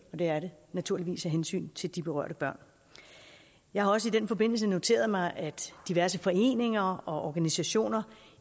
og det er det naturligvis af hensyn til de berørte børn jeg har også i den forbindelse noteret mig at diverse foreninger og organisationer